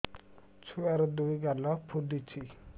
ଛୁଆର୍ ଦୁଇ ଗାଲ ଫୁଲିଚି